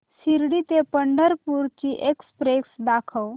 शिर्डी ते पंढरपूर ची एक्स्प्रेस दाखव